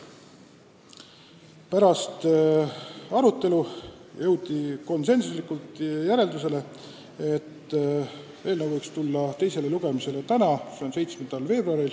Pärast arutelu jõuti järeldusele, et eelnõu võiks esitada teisele lugemisele tänaseks, 7. veebruariks.